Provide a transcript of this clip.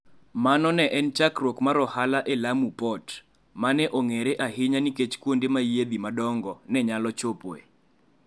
Mano ne en chakruok mar ohala e Lamu Port, ma ne ong'ere ahinya nikech kuonde ma yiedhi madongo ne nyalo chopoe.